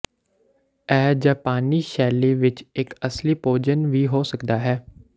ਇਹ ਜਪਾਨੀ ਸ਼ੈਲੀ ਵਿੱਚ ਇੱਕ ਅਸਲੀ ਭੋਜਨ ਵੀ ਹੋ ਸਕਦਾ ਹੈ